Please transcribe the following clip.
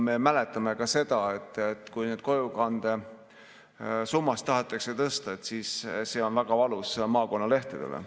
Me mäletame varasemast seda, et kui kojukande tasu on tahetud tõsta, siis on see maakonnalehtedele olnud väga valus.